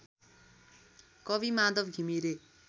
कवि माधव घिमिरे